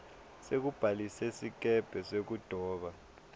sekubhalisa sikebhe sekudoba